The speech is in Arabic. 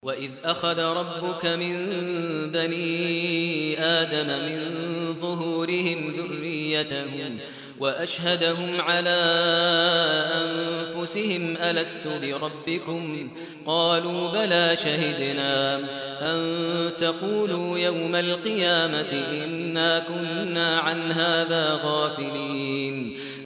وَإِذْ أَخَذَ رَبُّكَ مِن بَنِي آدَمَ مِن ظُهُورِهِمْ ذُرِّيَّتَهُمْ وَأَشْهَدَهُمْ عَلَىٰ أَنفُسِهِمْ أَلَسْتُ بِرَبِّكُمْ ۖ قَالُوا بَلَىٰ ۛ شَهِدْنَا ۛ أَن تَقُولُوا يَوْمَ الْقِيَامَةِ إِنَّا كُنَّا عَنْ هَٰذَا غَافِلِينَ